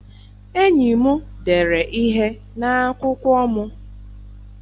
Enyi m dere ihe n'akwụkwọ m